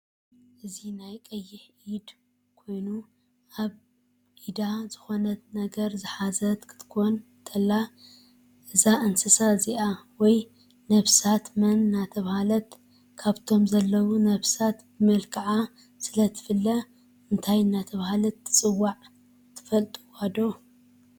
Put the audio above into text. እዚ ናይ ቀይሕ ኢድ ኮይኖ ኣብ ዕዳዝኮነት ነገር ዝሓዘት ክትኮን ተላ እዚ ንስሳ እዚ ወየ ነብሳት መን እደተበሃለ ካፍቶም ዘሎው ነብሳት ብመልካዓ ስለ ትፍለ ምን እደተበሃለት ትፅዋዕ ትፍልጥዶ?